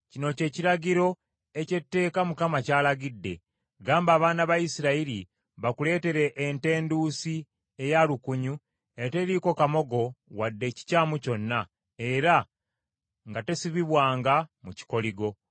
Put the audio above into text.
“Kino kye kiragiro eky’etteeka Mukama ky’alagidde: Gamba abaana ba Isirayiri bakuleetere ente enduusi eya lukunyu eteriiko kamogo wadde ekikyamu kyonna, era nga tesibibwangamu kikoligo.